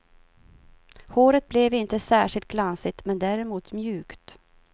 Håret blev inte särskilt glansigt, men däremot mjukt.